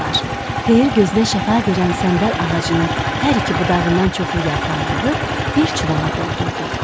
Xeyir gözünə şəfa verən səndəl ağacının hər iki budağından çoxlu yarpaq yığıb bir çuvala doldurdu.